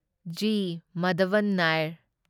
G. Madhavan Nair